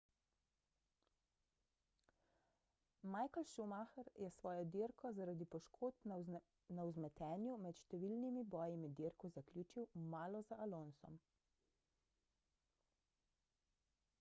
michael schumacher je svojo dirko zaradi poškodb na vzmetenju med številnimi boji med dirko zaključil malo za alonsom